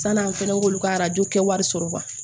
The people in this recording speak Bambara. Sann'an fɛnɛ k'olu ka arajo kɛ wari sɔrɔ